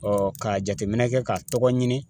ka jateminɛ kɛ ka tɔgɔ ɲini